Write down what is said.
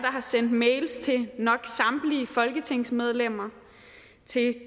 har sendt mails til nok samtlige folketingsmedlemmer til